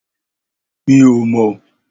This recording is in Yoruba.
Mi ò mọ̀